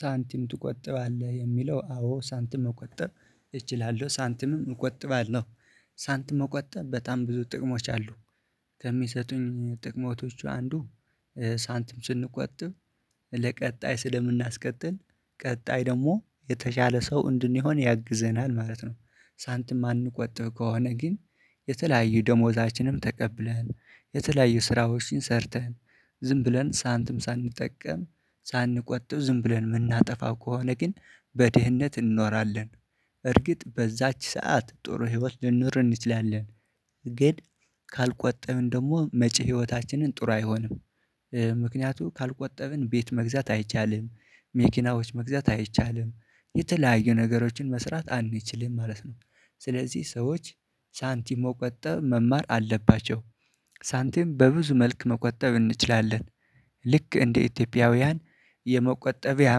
ሳንቲም ትቆጥባለህ የሚለው አዎ ሳንቲም መቆጠብ እችላለሁ ሳንቲምም እቆጥባለሁ ሳንቲም መቆጠብ በጣም ብዙ ጥቅሞች አሉት። ከሚሰጡኝ ጥቅሞች አንዱ ሳንትም ስንቆጥብ ለቀጣይ ስለምናስቀጥል ቀጣይ ደግሞ የተሻለ ሰው እንድንሆን ያግዘናል ማለት ነው። ሳንትም የማንቆጥብ ከሆነ ግን የተለያዩ ደሞዛችንን ተቀብለን የተለያዩ ስራዎችን ሰርተን ዝም ብለን ሳንትም ሳንጠቀም ሳንቆጥብ ዝም ብለን የምናጠፋ ከሆነ ግን በድህነት እንኖራለን። በእርግጥ በዛች ሰዓት ጥሩ ህይወት ልንኖር እንችላለን። ግን ካልቆጠብን ደግሞ መጪ ህይወታችን ጥሩ አይሆንም። ምክንያቱም ካልቆጠብን ቤት መግዛት አይቻልም መኪናዎች መግዛት አይቻልም የተለያዩ ነገሮችን መስራት አንችልም ማለት ነው። ስለዚህ ሰዎች ሳንቲም መቆጠብ መማር አለባቸው። ሳንቲም በብዙ መልክ መቆጠብ እንችላለን። ልክ እንደ ኢትዮጵያውያን የመቆጠቢያ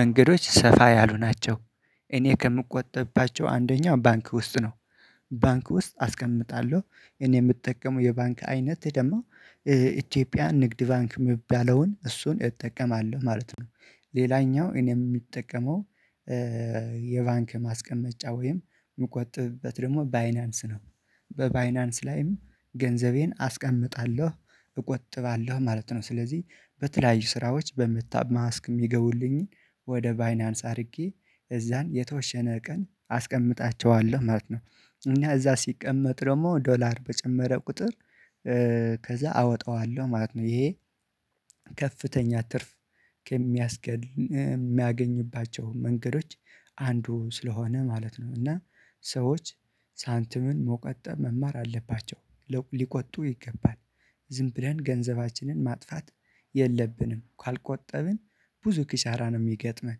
መንገዶች ሰፋ ያሉ ናቸው። እኔ ከምቆጥብባቸው አንደኛው ባንክ ውስጥ ነው። ባንክ ውስጥ አስቀምጣለሁ እኔ የምጠቀመው የባንክ አይነት ደግሞ የኢትዮጵያ ንግድ ባንክ የምባለውን እሱን እጠቀማለሁ ማለት ነው። ሌላኛው እኔ የምጠቀመው የባንክ ማስቀመጫ ወይም የምቆጥብበት ደግሞ ባይናንስ ነው። በባይናንስ ላይም ገንዘቤን አስቀምጣለሁ እቆጥባለሁ ማለት ነው። ስለዚህ በተለያዩ ስራዎች በምሰራበትጊዜ የሚገቡልኝን ወደ ባይናንስ አድርጌ እዛ የተወሰነ ቀን አስቀምጣቸዋለሁ ማለት ነው። እና እዛ ሲቀመጥ ደግሞ ዶላር በጨመረ ቁጥር ከዛ አወጣዋለሁ ማለት ነው። ይሄ ከፍተኛ ትርፍ ከሚያስገኝ እ የሚያገኝባቸው መንገዶች አንዱ ስለሆነ ማለት ነው። እና ሰዎች ሳንትምን መቆጠብ መማር አለባቸው። ሊቆጥቡ ይገባል ዝም ብለን ገንዘባችንን ማጥፋት የለብንም። ካልቆጠብን ብዙ ክሳራ ነው የሚገጥመን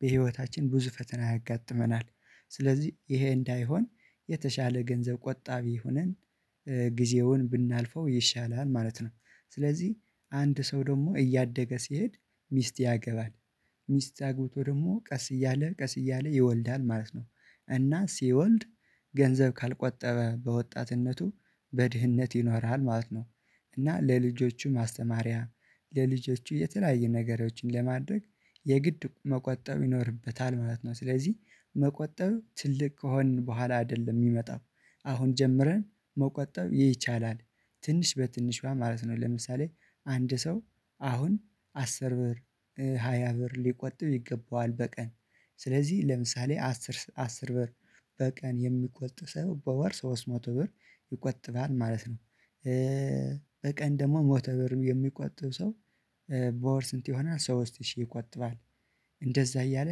በህይወታችን ብዙ ፈተና ያጋጥመናል። ስለዚህ ይሄ እንዳይሆን የተሻለ ገንዘብ ቆጣቢ ሆነን ጊዜውን ብናልፈው ይሻላል ማለት ነው። ስለዚህ አንድ ሰው ደግሞ እያደገ ሲሄድ ሚስት ያገባል ሚስት አግብቶ ደግሞ ቀስ እያለ ቀስ እያለ ይወልዳል ማለት ነው። እና ሲወልድ ገንዘብ ካልቆጠበ በወጣትነቱ በድህነት ይኖራል ማለት ነው። እና ለልጆቹ ማስተማሪያ ለልጆቹ የተለያየ ነገሮችን ለማድረግ የግድ መቆጠብ ይኖርበታል ማለት ነው። ስለዚህ መቆጣብ ትልቅ ከሆንን በኋላ አይደለም የሚመጣው አሁን ጀምረን መቆጠብ ይቻላል። ትንሽ በትንሽ ማለት ነው ለምሳሌ አንድ ሰው አሁን አስር ብር ሃያ ብር ሊቆጥብ ይገበዋል በቀን ስለዚህ ለምሳሌ አስር አስር ብር በቀን የሚቆጥብ ሰው በወር ሶስት መቶ ብር ይቆጥባል ማለት ነው። በቀን ደግሞ መቶ በር የሚቆጠብ ሰው በወር ስንት ይሆናል ሶስት ሺህ ይቆጥባል? እንደዛ እያለ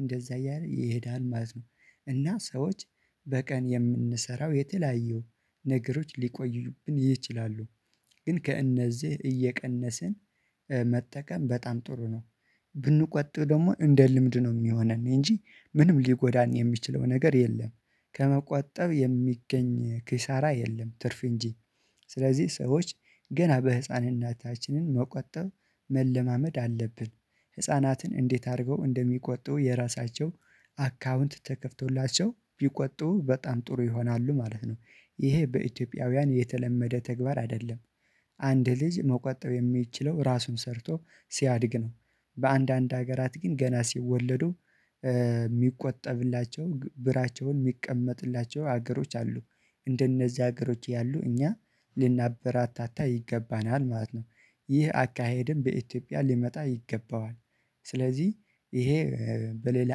እንደዛ እያለ ይሄዳል ማለት ነው። እና ሰዎች በቀን የምንሰራው የተለያዩ ነገሮች ሊኖሩብን ይችላሉ። ግን ከእነዚህ እየቀነስን መጠቀም በጣም ጥሩ ነው። ብንቆጥብ ደግሞ እንደ ልምድ ነው የሚሆነን እንጂ ምንም ሊጎዳን የሚችለው ነገር የለም። ከመቆጠብ የሚገኝ ኪሳራ የለም ትርፍ እንጂ። ስለዚህ ሰዎች ገና በህፃንናታችን መቆጠብ መለማመድ አለብን ህፃናትን እንዴት አድርገው እንደሚቆጥቡ የራሳቸው አካውንት ተከፍቶላቸው ቢቆጡ በጣም ጥሩ ይሆናል ማለት ነው። ይሄ በኢትዮጵያውያን የተለመደ ተግባር አይደለም። አንድ ልጅ መቆጠብ የሚችለው ራሱ ሰርቶ ሲያድግ ነው። በአንዳንድ ሀገራት ግን ገና ሲወለዱ የሚቆጠብላቸው ብራቸውን የሚቀመጥላቸው ሀገሮች አሉ። እንደነዚህ ሀገሮች ያሉትን እኛ ልናበራታታ ይገባናል ማለት ነው። ይህ አካሄድም በኢትዮጵያ ሊመጣ ይገበዋል። ስለዚህ ይሄ በሌላ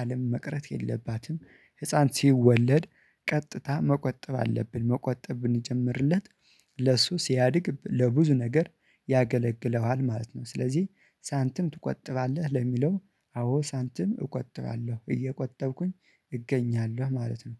አለም መቅረት የለበትም ህፃን ሲወለድ ቀጥታ መቆጠብ አለብን መቆጠብ ብንጀምርለት ለ ለሱ ሲያድግ ለብዙ ነገር ያገለግለዋል ማለት ነው። ስለዚህ ሳንትም ትቆጥባለህ ለሚለው አዎ ሳንትም እቆጥባለሁ እየቆጠብኩኝ እገኛለሁ ማለት ነው